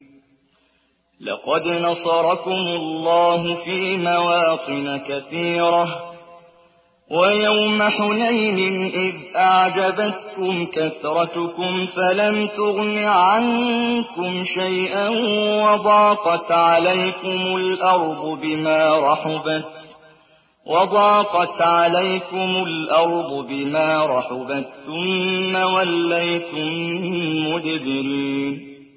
لَقَدْ نَصَرَكُمُ اللَّهُ فِي مَوَاطِنَ كَثِيرَةٍ ۙ وَيَوْمَ حُنَيْنٍ ۙ إِذْ أَعْجَبَتْكُمْ كَثْرَتُكُمْ فَلَمْ تُغْنِ عَنكُمْ شَيْئًا وَضَاقَتْ عَلَيْكُمُ الْأَرْضُ بِمَا رَحُبَتْ ثُمَّ وَلَّيْتُم مُّدْبِرِينَ